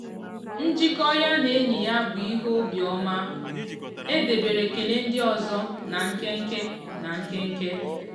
njikọ ya na enyi ya bụ ihe obiọma; e debere ekele ndị ọzọ na nkenke. na nkenke.